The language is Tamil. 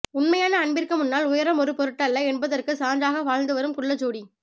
உண்மையான அன்பிற்கு முன்னால் உயரம் ஒரு பொருட்டல்ல என்பதற்கு சான்றாக வாழ்ந்து வாழும் குள்ள ஜோடி